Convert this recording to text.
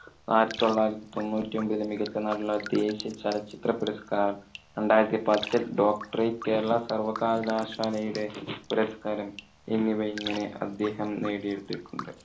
ആയിരത്തി തൊള്ളായിരത്തി തൊണ്ണൂറ്റി ഒമ്പതിൽ മികച്ച നടനുള്ള ദേശിയ ചലച്ചിത്ര പുരസ്കാരം, രണ്ടായിരത്തി പത്തിൽ doctorate കേരള സർവകലാശാലയുടെ പുരസ്കാരം എന്നിവ ഇങ്ങനെ അദ്ദേഹം നേടി എടുത്തിട്ടുണ്ട്.